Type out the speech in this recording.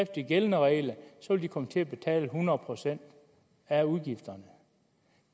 de gældende regler komme til at betale hundrede procent af udgifterne